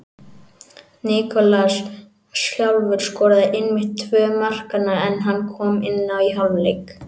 Nikolaj sjálfur skoraði einmitt tvö markanna en hann kom inná í hálfleik.